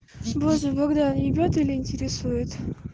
боже богдан ебет или интересует